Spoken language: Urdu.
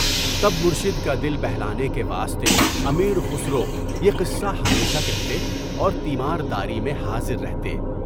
تب مرشد کا دل سلانے کے واسطے امیر خسرو یہ قصہ ہمیشہ کہتے اور تیمار تیاری میں حاضر رہتے۔